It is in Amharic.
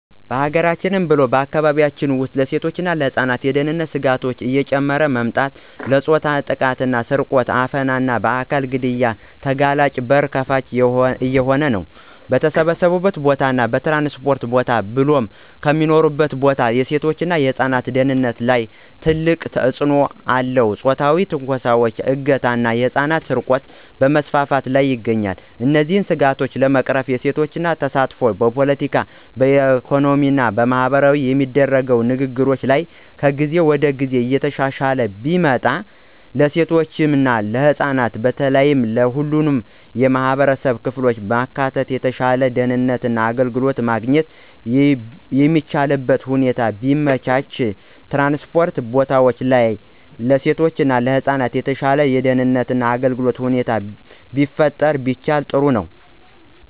በሀገራችን ብሎም በአካባቢያችን ውስጥ ለሴቶች እና ለህፃናት የደህንነት ስጋቶች እየጨመረ መምጣት ለፆታዊ ጥቃት፣ ስርቆት፣ አፈና እና በአካል ግድያ ተጋላጭነት በር ከፋች እየሆነ ነው። በተሰበሰበበት ቦታ እና ትራንስፖርት ቦታ ብሎም ከሚኖሩበት ቦታ የሴቶች እና ህፃናት ደህንነት ላይ ትልቅ ተጽእኖ አለው ፆታዊ ትንኮሳዎች፣ እገታ ና የህፃናት ስርቆት በመስፋፋት ላይ ይገኛል። እነዚህን ስጋቶች ለመቅረፍ የሴቶች ተሳትፎ በፖለቲካዊ፣ ኢኮኖሚያዊ እና ማህበራዊ የሚደረጉ ንግግሮች ላይ ከጊዜ ወደ ጊዜ እየተሻሻለ ቢመጣ፣ ለሴቶች እና ህፃናት በተለየ ሁሉንም የማህበረሰብ ክፍሎች በማካተት የተሻለ ደህንነት እና አገልግሎት ማግኘት የሚቻልበትን ሁኔታ ቢመቻች፣ ትራንስፖርት ቦታዎች ለሴቶች እና ለህፃናት የተሻለ የደህንነት እና አገልግሎት ሁኔታ መፍጠር ቢቻል ጥሩ ነው።